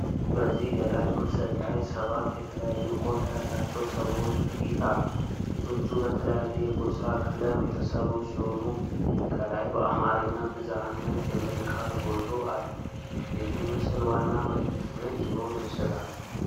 በዚህ ገላጭ ምስል ላይ ሰባት የተለያዩ ቆዳ ያላቸው ሰዎች ፊት አለ። ፊቶቹ በተለያየ የጎሣ ቀለም የተሠሩ ሲሆኑ፣ ከላይ በአማርኛ "ብዝኃነት" የሚል ቃል ጎልቶ አለ። የዚህ ምስል ዋና መልዕክት ምን ሊሆን ይችላል?